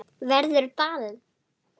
Verður ball?